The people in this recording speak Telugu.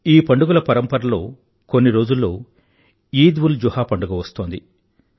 ఈ పండుగల పరంపరలో కొన్ని రోజుల్లో ఈద్ఉల్జుహా పండుగ వస్తోంది